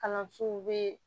Kalansow be